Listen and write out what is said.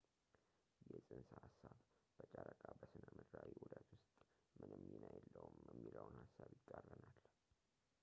ይህ ፅንሰ ሐሳብ ጨረቃ በሥነ ምድራዊ ዑደት ውስጥ ምንም ሚና የለውም የሚለውን ሐሳብ ይቃረናል